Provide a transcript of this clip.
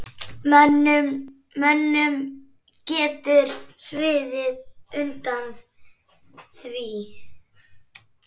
Mönnum getur sviðið undan því.